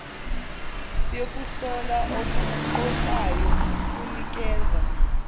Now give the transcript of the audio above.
yokuhlola okuqoqayo kunikeza